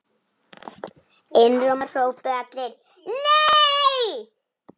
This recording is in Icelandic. Einróma hrópuðu allir: NEI!